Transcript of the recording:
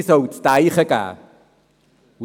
Sie soll zu denken geben.